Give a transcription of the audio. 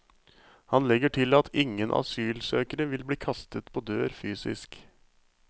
Han legger til at ingen asylsøkere vil bli kastet på dør fysisk.